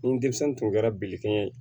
Ni denmisɛn tun kɛra bilikɛ ye